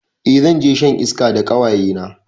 Eh zanje shan iska da ƙawayena